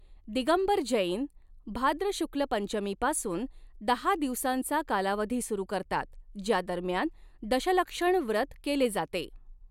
दिगंबर जैन भाद्र शुक्ल पंचमीपासून दहा दिवसांचा कालावधी सुरू करतात ज्या दरम्यान दशलक्षण व्रत केले जाते.